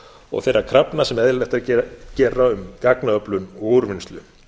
og þeirra krafna sem eðlilegt er að gera um gagnaöflun og úrvinnslu